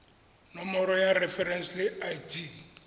nomoro ya referense le id